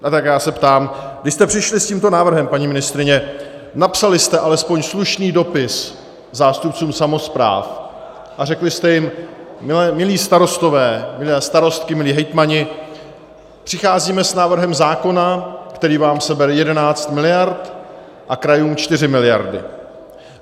A tak já se ptám: Když jste přišli s tímto návrhem, paní ministryně, napsali jste alespoň slušný dopis zástupcům samospráv a řekli jste jim "milí starostové, milé starostky, milí hejtmani, přicházíme s návrhem zákona, který vám sebere 11 miliard a krajům 4 miliardy"?